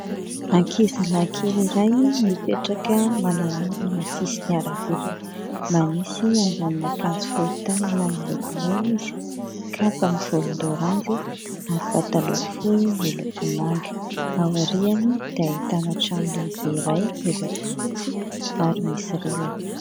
Ankizy lahy kely iray mipetraka manamorona ny sisin'ny arabe. Manisy ambonon'akanjo fohy tanana miloko mena izy, kapa mivolondaoranjy ary pataloha fohy miloko manga. Aoriany dia ahitana trano lehibe iray miloko fotsy ary misy rihana.